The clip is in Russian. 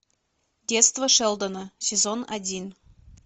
детство шелдона сезон один